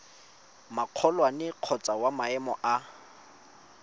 magolwane kgotsa wa maemo a